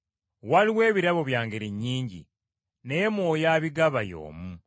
Waliwo ebirabo bya ngeri nnyingi, naye Mwoyo abigaba y’omu.